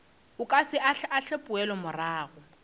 o ka se ahlaahle poelomorago